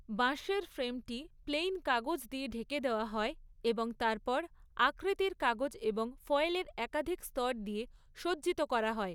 বাঁশের ফ্রেমটি প্লেইন কাগজ দিয়ে ঢেকে দেওয়া হয় এবং তারপর আকৃতির কাগজ এবং ফয়েলের একাধিক স্তর দিয়ে সজ্জিত করা হয়।